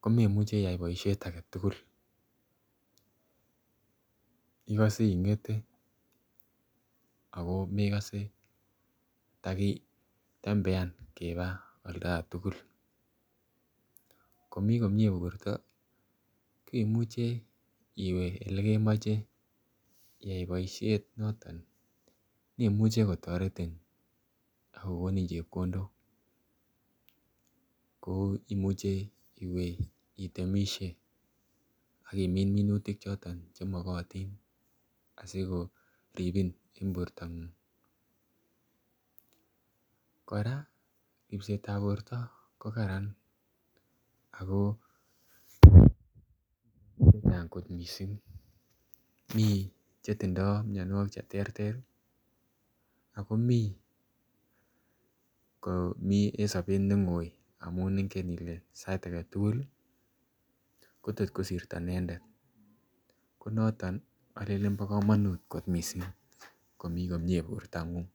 ko memuche iyay boishet agetugul igose ingete ako mekose takiba olda tugul. Komii komie borto ko imuche iwee ele kemoche iyay boishet noton nemuche kotoretin ak kogonin chepkondok kouu imuche iwe itemisie ak imin minutik choton che mokotin asiko ribin en bortangung. Koraa ribsetab borta ko Karan ako Kot missing mii chetindo mionwokik che terter ii ako mii en sobet ne goi amun ingen kole sait agetugul ii Kotot kosirto inendet ko noton olelen bo komonut kot missing komii komie bortangung